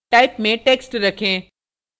type में text रखें